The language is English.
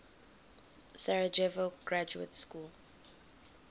sarajevo graduate school